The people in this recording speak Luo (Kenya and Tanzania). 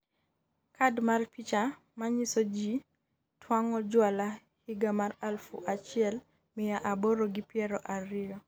kad mar picha ma nyiso ji twang'o jwala higa mar aluf achiel miya aboro gi piero ariyo